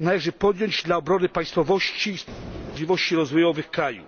należy podjąć dla obrony państwowości i możliwości rozwojowych kraju.